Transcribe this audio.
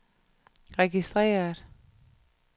registreret